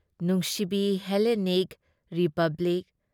ꯅꯨꯡꯁꯤꯕꯤ Hellenic Republic !